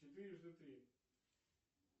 четырежды три